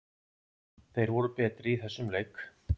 Þeir voru betri í þessum leik.